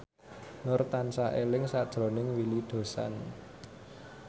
Nur tansah eling sakjroning Willy Dozan